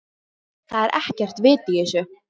ÞAÐ ER EKKERT VIT Í ÞESSU.